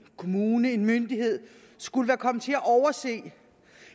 kommune eller en myndighed skulle være kommet til at overse